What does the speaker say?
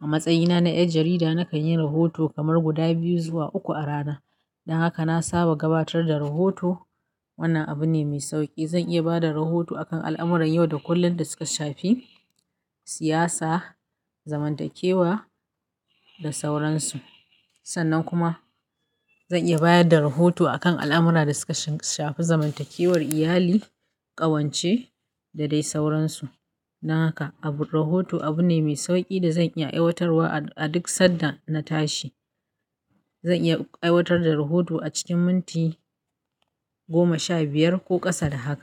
A matsayina na ƴar jarida nakanyi rahoto kamar guda biyu zuwa uku a rana don haka na saba gabatar da rahoto. Wannan abu ne mai sauƙi. Zan iya ba da rahoto a kan al'amuran yau da kullum da suka shafi siyasa, zamantakewa da sauransu. Sannan kuma zan iya bayar da rahoto a kan al'amura da suka shafi zamantakewar iyali, ƙawance da dai sauransu. Don haka abu-- rahoto abu ne mai sauƙi da zan iya aiwatarwa a duk sanda na tashi. Zan iya aiwatar da rahoto a cikin minti goma sha biyar ko ƙasa da haka.